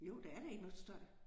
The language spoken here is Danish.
Jo der er der ikke noget støj